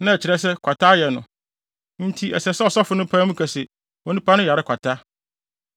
na ɛkyerɛ sɛ, kwata ayɛ no, enti ɛsɛ sɛ ɔsɔfo no pae mu ka se, onipa no yare kwata.